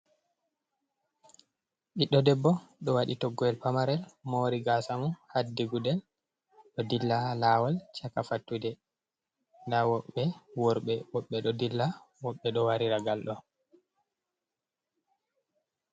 Ɓiɗɗo debbo ɗo waɗi toggoowol pamarel, moori gaasa mum, haddi gudel, ɗo dilla laawol caka fattude, nda woɓɓe worɓe ɗuuɗɓe ɗo dilla woɗbe ɗo waɗira ngalɗo.